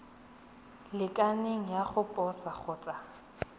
lekaneng ya go posa kgotsa